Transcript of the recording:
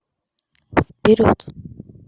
вперед